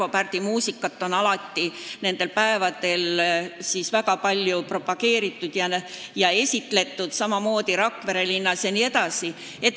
Arvo Pärdi muusikat on nendel päevadel alati väga palju propageeritud ja esitletud, samamoodi Rakvere linnas.